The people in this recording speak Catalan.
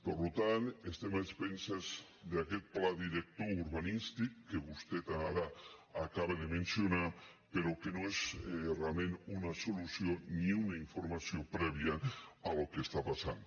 per tant estem a expenses d’aquest pla director urbanístic que vostè ara acaba de mencionar però que no és realment una solució ni una informació prèvia al que està passant